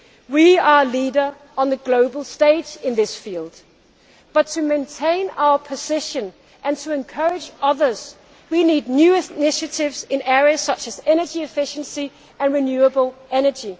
We are a leader on the global stage in this field but, to maintain our position and to encourage others, we need new initiatives in areas such as energy efficiency and renewable energy.